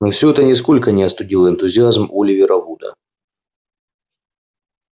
но все это нисколько не остудило энтузиазм оливера вуда